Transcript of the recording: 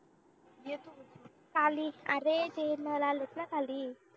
आली. अरे ते नर आलेत ना खाली